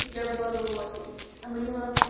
у тебя было на уроке